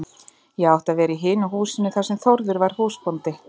Ég átti að vera í hinu húsinu þar sem Þórður var húsbóndi.